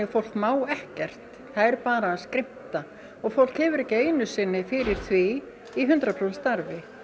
fólk má ekkert það er bara að skrimta og fólk hefur ekki einu sinni fyrir því í hundrað prósent starfi